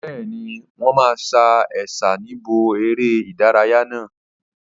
Bẹ́ẹ̀ni, wọn máa sa Ẹ̀sà níbi eré ìdárayá náà.